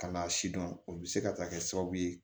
Kana sidɔn o bi se ka taa kɛ sababu ye